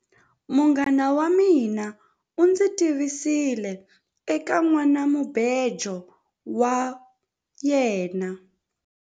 Munghana wa mina u ndzi tivisile eka nhwanamubejo wa yena.